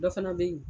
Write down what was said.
Dɔ fana bɛ yen